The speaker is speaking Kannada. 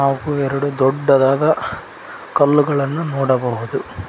ಹಾಗು ಎರಡು ದೊಡ್ಡದಾದ ಕಲ್ಲುಗಳನ್ನು ನೋಡಬಹುದು.